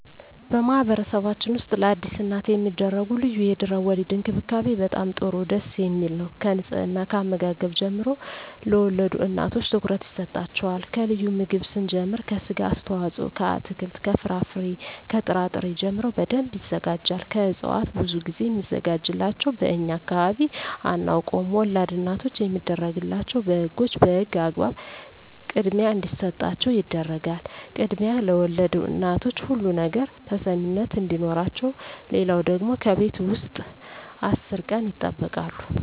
በማህበረሰብችን ውስጥ ለአዲስ እናት የሚደረጉ ልዩ የድህረ _ወሊድ እንክብካቤ በጣም ጥሩ ደስ የሚል ነው ከንጽሕና ከአመጋገብ ጀምሮ ለወልድ እናቶች ትኩረት ይሰጣቸዋል ከልዩ ምግብ ስንጀምር ከስጋ አስተዋጽኦ ከአትክልት ከፍራፍሬ ከጥራ ጥሪ ጀምሮ በደንብ ይዘጋጃል ከእጽዋት ብዙ ግዜ ሚዘጋጅላቸው በእኛ አካባቢ አናውቀውም ወላድ እናቶች የሚደረግላቸው በህጎች በህግ አግባብ ክድሚያ እንዲሰጣቸው ይደረጋል ክድሚያ ለወልድ እናቶች ሁሉ ነገር ተሰሚነት አዲኖረቸው ሌለው ደግሞ ከቤት ውስጥ አስር ቀን ይጠበቃሉ